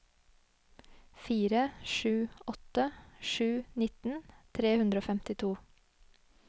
fire sju åtte sju nitten tre hundre og femtito